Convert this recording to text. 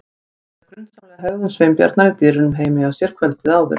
Hann rifjaði upp grunsamlega hegðun Sveinbjarnar í dyrunum heima hjá sér kvöldið áður.